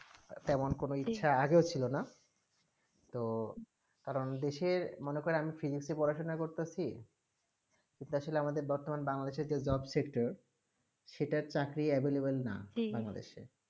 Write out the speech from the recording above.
তেমন কোনো ইচ্ছা আগে ছিল না তারা ওদেশে মনে করে আমি physics এ পড়াশোনা করতেছি বসলে আমাদের বর্তমানে বাংলাদেশে একটি job sector সেটা চাকরি available না জী বাংলাদেশে